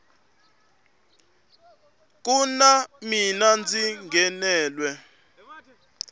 ku na mina ndzi nghenelwe